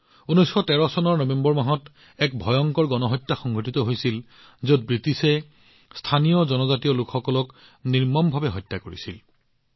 ১৯১৩ চনৰ নৱেম্বৰ মাহত ইয়াত এক ভয়ংকৰ গণহত্যা সংঘটিত হৈছিল যত ব্ৰিটিছে স্থানীয় জনজাতীয় লোকসকলক নিৰ্মমভাৱে হত্যা কৰিছিল